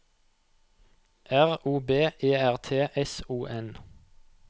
R O B E R T S O N